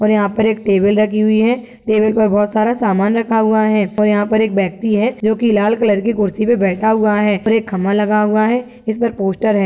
यहा पर एक टेबल रखी हुई है। टेबल पर बहुत सारा सामान रखा हुआ है। यहा पर एक व्यक्ति है जो लाल कलर की कुर्सी पर बैठा हुआ है और एक खंबा लगा हुआ है इस पर पोस्टर है।